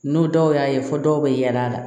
N'o dɔw y'a ye fɔ dɔw bɛ yaala